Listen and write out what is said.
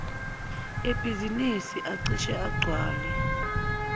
ebhizinisi acishe agcwale